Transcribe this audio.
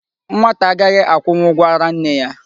Nwata agaghị akwụnwụ ụgwọ ara nne ya.